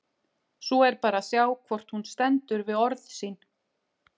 Svo er bara að sjá hvort hún stendur við orð sín!